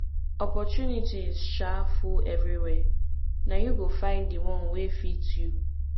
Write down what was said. opportunities um full everywhere na you go find di one wey fit you